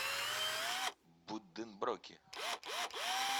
будденброки